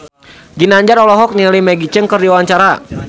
Ginanjar olohok ningali Maggie Cheung keur diwawancara